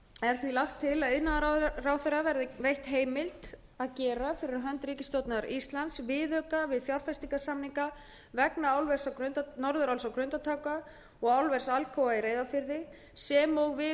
er því lagt til að iðnaðarráðherra verði veitt heimild að gera viðauka fyrir hönd ríkisstjórnar íslands við fjárfestingarsamninga vegna norðuráls á grundartanga og álvers alcoa í reyðarfirði sem og viðauka